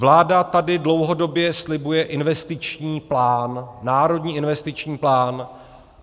Vláda tady dlouhodobě slibuje investiční plán, Národní investiční plán.